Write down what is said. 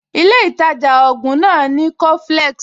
Ilé ìtajà ògùn náà ò ní coflex